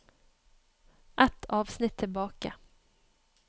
Ett avsnitt tilbake